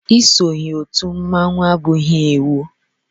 Isonye otú mmọnwu abụghị iwu.